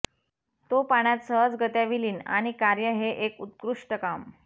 तो पाण्यात सहजगत्या विलीन आणि कार्य हे एक उत्कृष्ट काम